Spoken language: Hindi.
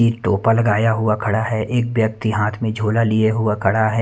एक टोपा लगाया हुआ खड़ा है एक व्यक्ति हाथ में झोला लिए हुआ खड़ा है।